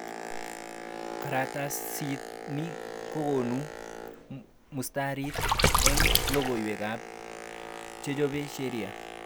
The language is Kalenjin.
Karatasit ni kokonu muhtasari eng logoiwekab chechob seria